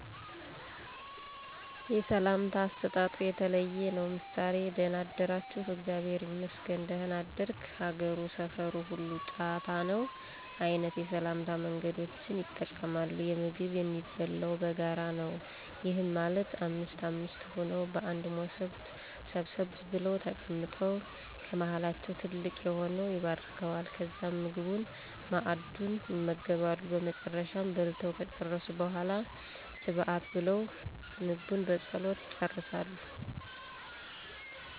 የሰላምታ አሰጣጡ የተለየ ነው። ምሳሌ:- ደና አደራችሁ? እግዚአብሔር ይመስገን ደና አደርክ? ሀገሩ፣ ሰፋሩ ሁሉ ጫታ ነው? አይነት የሰላምታ መንገዶችን ይጠቀማሉ። የምግብ የሚበላው በጋራ ነው። ይህም ማለት አምስት አምስት ሆነው በአንድ ሞሰብ ሰብሰብ ብለው ተቀምጠው ከመሀላቸው ትልቅ የሆነው ይባርከዋል። ከዛም ምግቡን(መአዱን) ይመገባሉ። በመጨረሻም በልተው ከጨረሱ በሗላ ስብሀት ብለው ምግቡን በፀሎት ይጨርሳሉ።